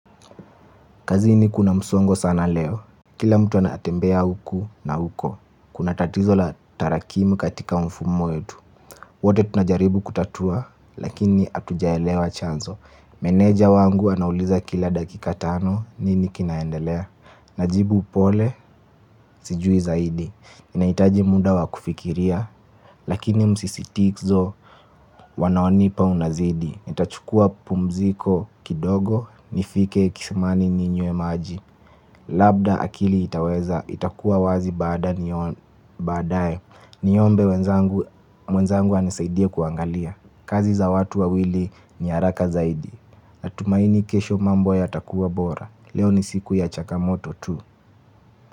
Kazini kuna msongo sana leo. Kila mtu anatembea huku na huko. Kuna tatizo la tarakimu katika mfumo wetu. Wote tunajaribu kutatua. Lakini atujaelewa chanzo. Meneja wangu anauliza kila dakika tano. Nini kinaendelea. Najibu upole. Sijui zaidi ninaitaji muda wa kufikiria. Lakini msisitizo wanaonipa unazidi. Nitachukua pumziko kidogo. Nifike kisimani ninywe maji. Labda akili itakua wazi badae. Niombe mwenzangu anisaidie kuangalia kazi za watu wawili ni haraka zaidi. Natumaini kesho mambo yatakua bora. Leo ni siku ya chakamoto tu.